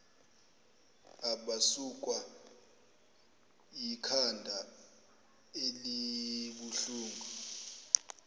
abasukwa yikhanda elibuhlungu